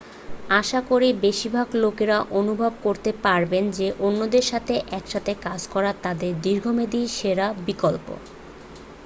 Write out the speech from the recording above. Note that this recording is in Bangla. আশা করি বেশিরভাগ লোকেরা অনুভব করতে পারবেন যে অন্যদের সাথে একসাথে কাজ করা তাদের দীর্ঘমেয়াদী সেরা বিকল্প